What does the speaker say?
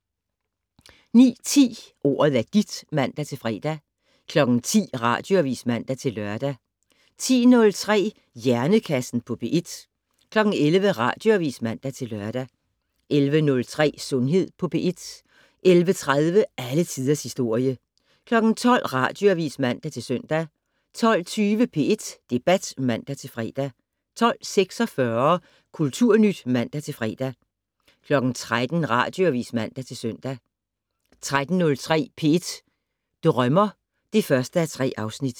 09:10: Ordet er dit (man-fre) 10:00: Radioavis (man-lør) 10:03: Hjernekassen på P1 11:00: Radioavis (man-lør) 11:03: Sundhed på P1 11:30: Alle tiders historie 12:00: Radioavis (man-søn) 12:20: P1 Debat (man-fre) 12:46: Kulturnyt (man-fre) 13:00: Radioavis (man-søn)